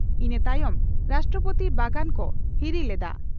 ᱤᱱᱟᱹ ᱛᱟᱭᱚᱢ ᱨᱟᱥᱴᱨᱚᱯᱳᱛᱤ ᱵᱟᱜᱟᱱ ᱠᱚ ᱦᱤᱨᱤ ᱞᱮᱫᱼᱟ ᱾